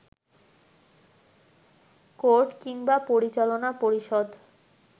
court কিংবা পরিচালনা পরিষদ